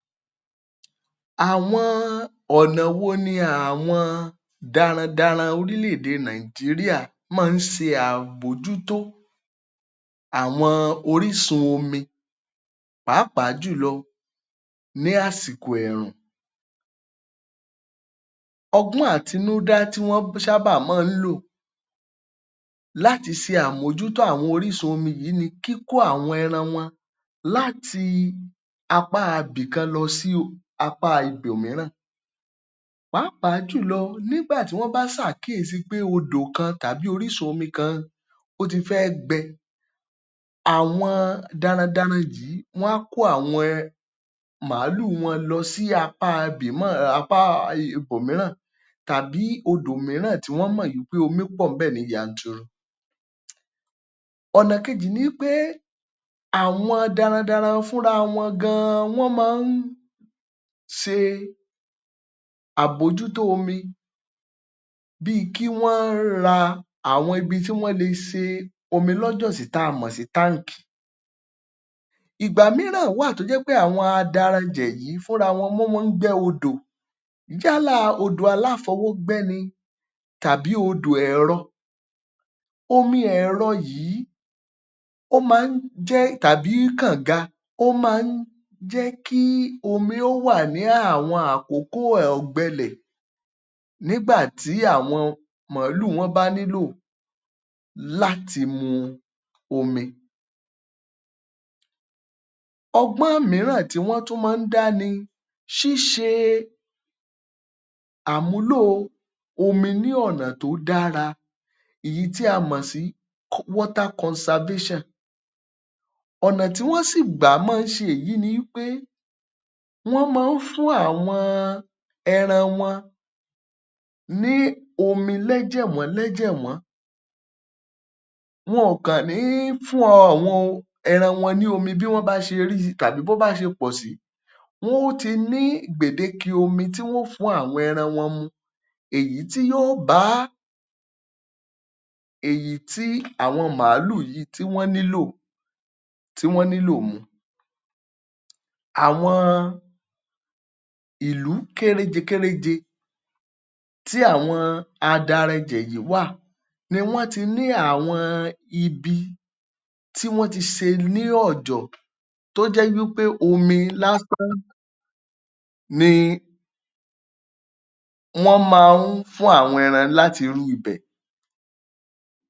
Àwọn ọ̀nà wo ni àwọn daradaran orílẹ̀ èdè Nàìjíríà máa ń ṣe àbójútó àwọn orísun omi pàápàá jùlọ ní àsìkò ẹ̀rùn. Ọgbọ́n àtinúdá tí wọ́n ń ṣábà máa ń lò láti ṣe àmójútó àwọn orísun omi yìí ni kíkó àwọn ẹran láti apá ibìkan lọ sí apáa ibòmíràn pàápàá jùlọ nígbà tí wọ́n bá ṣàkíyèsí wípé odò kan tàbí orísun omi kan ó ti fẹ́ gbẹ. Àwọn darandaran yìí wọ́n á kó àwọn um màálù wọn lọ sí apá apá ibòmíràn tàbí odò míràn tí wọ́n mọ̀ wípé omi pọ̀ ńbẹ̀ ní yanturu. Ọnà kejì ni í pé àwọn darandaran fúnra wọn gan wọ́n máa ń ṣe àbójútó omi bíi kí wọ́n ra àwọn ibi tí wọ́n lè ṣe omi lọ́jọ̀ sí tí a mọ̀ sí. Ìgbà míràn wáà tó jẹ́ wípé àwọn adaranjẹ̀ yìí fúnra wọn wọn mọ ń gbẹ́ odò yálà odò aláfọwọ́gbẹ́ ni tàbí odò ẹ̀rọ. Omi Ẹ̀rọ yìí ó máa ń jẹ́ tàbí kọ̀ǹga ó má ń jẹ́ kí omi ó wà ní àwọn àkókò ọ̀gbẹ ilẹ̀ nígbà tí àwọn màálù wọn bá nílò láti mu omi. Ọgbọ́n míràn tí wọ́n tún máa ń dá ni ṣíṣe àmúlò omi ní ọ̀nà tó dára èyí tí a mọ̀ sí. Ọ̀nà tí wọ́n sì gbà máa ń ṣe èyí ni í pé wọ́n máa ń fún àwọn ẹran wọn ní omi lẹ́jẹ̀wọ́n lẹ́jẹ̀wọ́n. Wọn ò kàn ní fún àwọn ẹran wọn ní omi bí wọ́n bá ṣee rí i tàbí tó bá se pọ̀ sí. Wọ́n ó ti ní gbèdéke omi tí wọ́n ò fún àwọn ẹran wọn mu èyí tí yóò ba èyí tí àwọn màálù yìí tí wọ́n nílò tí wọ́n nílò mu. Àwọn ìlú kéréje kéréje tí àwọn adaranjẹ̀ yìí wà ni wọ́n ti ní àwọn ibi tí wọ́n ti ṣe ní ọ̀jọ̀ tó jẹ́ wípé omi lásán ni wọ́n máa ń fún àwọn ẹran láti irú ibẹ̀.